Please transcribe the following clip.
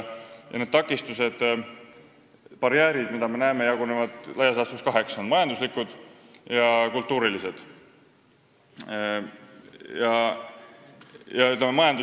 Need takistused, mida me näeme, jagunevad laias laastus kaheks: on majanduslikud ja kultuurilised barjäärid.